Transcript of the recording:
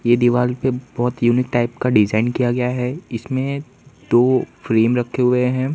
ये दिवाल पे बहोत यूनिक टाइप का डिजाइन किया गया है इसमें दो फ्रेम रखे हुए हैं।